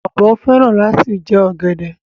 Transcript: Ọbọ fẹran lati jẹ ogede.